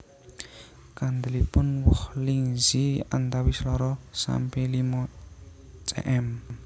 Kandelipun woh Lingzhi antawis loro sampe limo cm